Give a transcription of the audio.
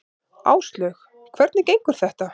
Áslaug: Hvernig gengur þetta?